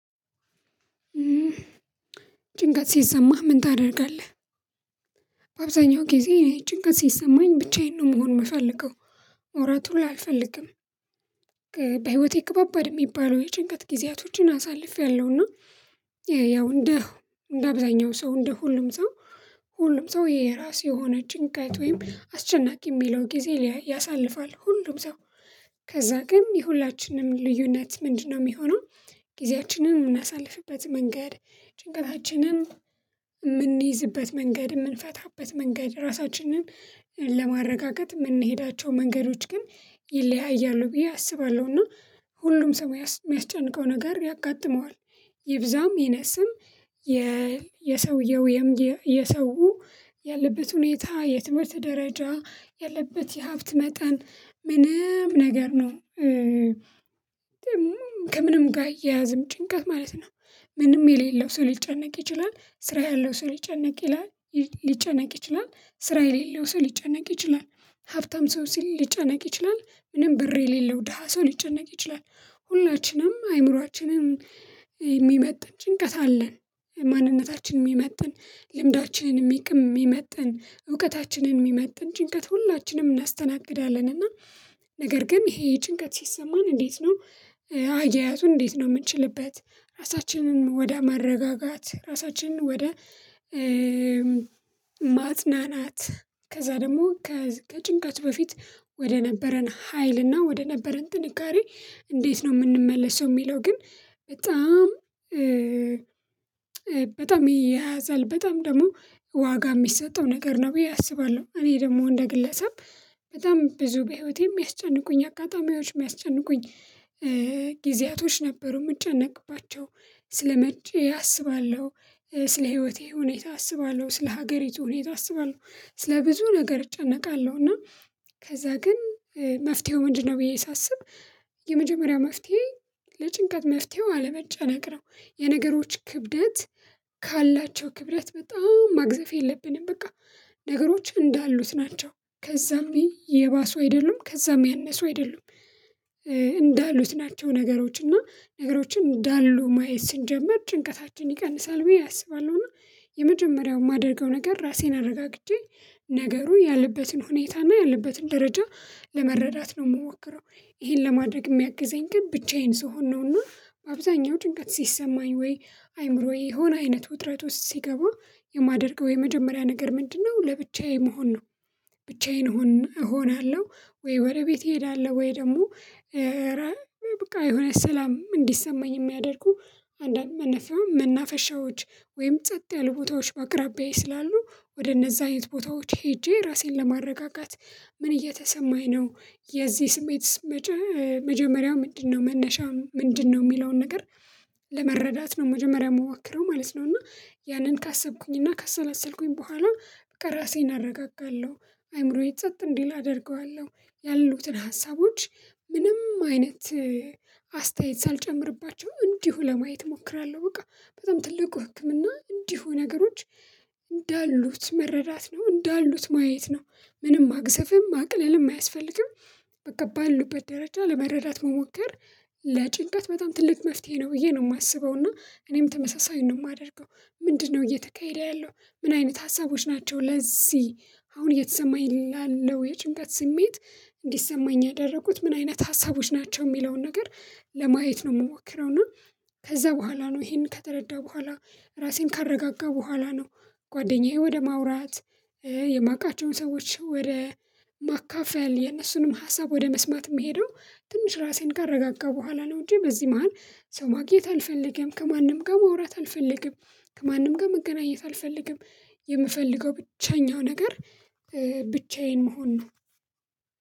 ጭንቀት ሲሰማህ ምን ታደርጋለህ? አብዛኛው ጊዜ ጭንቀት ሲሰማኝ ብቻዬን ነው መሆን የምፈልገው ማውራት ሁላ አልፈልግም። በህይወቴ ከባባድ የሚባለው የጭንቀት ጊዜያቶችን አሳልፊያለሁና። ያው እንደ እንደ አብዛኛው ሰው እንደ ሁሉም ሰው ሁሉም ሰው የራሱ የሆነ ጭንቀት ወይም አስጨናቂ የሚለው ጊዜ ያሳልፋል ሁሉም ሰው ከዛ ግን የሁላችንም ልዩነት ምንድነው የሚሆነው? ጊዜያችንን የምናሳልፍበት መንገድ ጭንቀታችንን የምንይዝበት መንገድ የምንፈታበት መንገድ ራሳችንን ለማረጋገጥ የምንሄዳቸው መንገዶች ግን ይለያያሉ ብዬ አስባለሁ። እና ሁሉም ሰው የሚያስጨንቀው ነገር ያጋጥመዋል ይብዛም ይነስም። የሰውየው የሰው ያለበት ሁኔታ የትምህርት ደረጃ ያለበት የሀብት መጠን ምንም ነገር ነው ከምንም ጋር አይያያዝም ጭንቀት ማለት ነው። ምንም የሌለው ሰው ሊጨነቅ ይችላል ስራ ያለው ሰው ሊጨነቅ ይችላል። ሊጨነቅ ይችላል ስራ የሌለው ሰው ሊጨነቅ ይችላል። ሀብታም ሰው ሊጨነቅ ይችላል ምንም ብር የሌለው ደሃ ሰው ሊጨነቅ ይችላል። ሁላችንም አእምሮአችንን የሚመጥን ጭንቀት አለን። ማንነታችንን የሚመጥን ልምዳችንን የሚመጥን እውቀታችንን የሚመጥን ጭንቀት ሁላችንም እናስተናግዳለን እና ነገር ግን ይሄ ጭንቀት ሲሰማን እንዴት ነው? አያያዙን እንዴት ነው የምንችልበት ራሳችንን ወደ ማረጋጋት ራሳችንን ወደ ማጽናናት? ከዛ ደግሞ ከጭንቀት በፊት ወደ ነበረን ሀይልና ወደ ነበረን ጥንካሬ እንዴት ነው የምንመለሰው የሚለው ግን በጣም በጣም ይያያዛል በጣም ደግሞ ዋጋ የሚሰጠው ነገር ነው ብዬ አስባለሁ። እኔ ደግሞ እንደ ግለሰብ በጣም ብዙ በህይወቴ የሚያስጨንቁኝ አጋጣሚዎች የሚያስጨንቁኝ ጊዜያቶች ነበሩ የምጨነቅባቸው ስለመቼ አስባለሁ ስለ ህይወቴ ሁኔታ አስባለሁ ስለ ሀገሪቱ ሁኔታ አስባለሁ ስለ ብዙ ነገር እጨነቃለሁ እና ከዛ ግን መፍትሄው ምንድነው ብዬ ሳስብ የመጀመሪያ መፍትሄ ለጭንቀት መፍትሄው አለመጨነቅ ነው። የነገሮች ክብደት ካላቸው ክብደት በጣም ማግዘፍ የለብንም በቃ ነገሮች እንዳሉት ናቸው። ከዛም የባሱ አይደሉም ከዛም ያነሱ አይደሉም እንዳሉት ናቸው ነገሮች እና ነገሮችን እንዳሉ ማየት ስንጀምር ጭንቀታችን ይቀንሳል ብዬ አስባለሁና። የመጀመሪያው የማደርገው ነገር ራሴን አረጋግቼ ነገሩ ያለበትን ሁኔታና ያለበትን ደረጃ ለመረዳት ነው የምሞክረው ይሄን ለማድረግ የሚያግዘኝ ግን ብቻዬን ስሆን ነውና በአብዛኛው ጭንቀት ሲሰማኝ ወይ አይምሮዬ የሆነ አይነት ውጥረት ውስጥ ሲገባ የማደርገው የመጀመሪያ ነገር ምንድነው ለብቻዬ መሆን ነው? ብቻዬን እሆናለሁ። ወይ ወደ ቤት እሄዳለሁ። ወይ ደግሞ በቃ የሆነ ሰላም እንዲሰማኝ የሚያደርጉ አንድ አንድ መናፈሻዎች ወይም ጸጥ ያሉ ቦታዎች በአቅራቢያዬ ስላሉ ወደ እነዛ አይነት ቦታዎች ሄጄ ራሴን ለማረጋጋት። ምን እየተሰማኝ ነው የዚህ ስሜት መጀመሪያው ምንድነው መነሻ ምንድነው የሚለውን ነገር? ለመረዳት ነው መጀመሪያ የምሞክረው ማለት ነው። እና ያንን ካሰብኩኝ እና ካሰላሰልኩኝ በኋላ በቃ ራሴን አረጋጋለሁ። አእምሮዬ ጸጥ እንዲል አደርገዋለሁ ያሉትን ሀሳቦች ምንም አይነት አስተያየት ሳልጨምርባቸው እንዲሁ ለማየት እሞክራለሁ። በቃ በጣም ትልቁ ህክምና እንዲሁ ነገሮች እንዳሉት መረዳት ነው እንዳሉት ማየት ነው። ምንም ማግዘፍም ማቅለልም አያስፈልግም በቃ ባሉበት ደረጃ ለመረዳት መሞከር ለጭንቀት በጣም ትልቅ መፍትሄ ነው ብዬ ነው የማስበው። እና እኔም ተመሳሳይ ነው የማደርገው። ምንድነው እየተካሄደ ያለው ምን አይነት ሀሳቦች ናቸው ለዚህ አሁን እየተሰማኝ ላለው የጭንቀት ስሜት እንዲሰማኝ ያደረጉት ምን አይነት ሀሳቦች ናቸው የሚለውን ነገር ለማየት ነው። የምሞክረው እና ከዛ በኋላ ነው ይሄን ከተረዳሁ በኋላ ራሴን ካረጋጋሁ በኋላ ነው። ጓደኛዬን ወደ ማውራት የማውቃቸውን ሰዎች ወደ ማካፈል የነሱንም ሀሳብ ወደ መስማት የምሄደው ትንሽ ራሴን ካረጋጋሁ በኋላ ነው። እንጂ በዚህ መሃል ሰው ማግኘት አልፈልግም ከማንም ጋር ማውራት አልፈልግም። ከማንም ጋር መገናኘት አልፈልግም። የምፈልገው ብቸኛው ነገር ብቻዬን መሆን ነው።